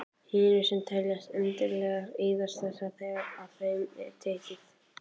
Hinar, sem teljast endanlegar, eyðast þegar af þeim er tekið.